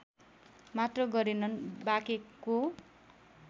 मात्र गरेनन् बाँकेको